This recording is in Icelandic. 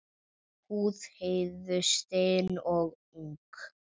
Húð Heiðu stinn og ung.